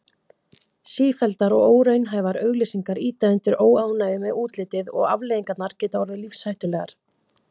Sífelldar og óraunhæfar auglýsingar ýta undir óánægju með útlitið og afleiðingarnar geta orðið lífshættulegar.